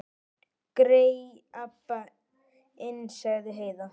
Grey Abba hin, sagði Heiða.